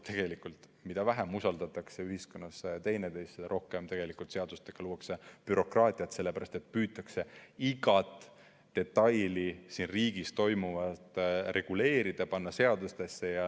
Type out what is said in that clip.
Aga mida vähem usaldatakse ühiskonnas üksteist, seda rohkem luuakse tegelikult seadustega bürokraatiat, sellepärast et püütakse igat detaili ja kõike siin riigis toimuvat reguleerida, panna seadustesse.